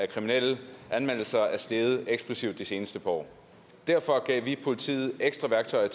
at antallet af anmeldelser er steget eksplosivt de seneste par år derfor gav i år politiet ekstra værktøjer